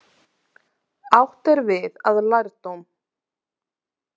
Átt er við að lærdóm.